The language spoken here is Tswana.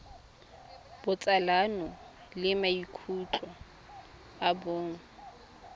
botsalano le maikutlo a bong